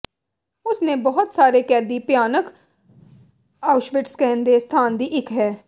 ਉਸ ਨੇ ਬਹੁਤ ਸਾਰੇ ਕੈਦੀ ਭਿਆਨਕ ਆਉਸ਼ਵਿਟਸ ਕਹਿੰਦੇ ਸਥਾਨ ਦੀ ਇੱਕ ਹੈ